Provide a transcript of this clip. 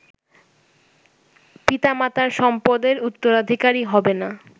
পিতামাতার সম্পদের উত্তরাধিকারী হবেনা